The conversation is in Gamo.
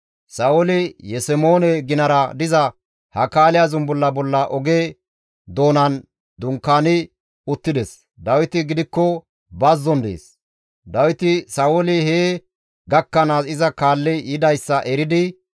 Sa7ooli Yesemoone ginara diza Hakaaliya zumbulla bolla oge doonan dunkaani uttides; Dawiti gidikko bazzon dees. Dawiti Sa7ooli hee gakkanaas iza kaalli yidayssa eridi,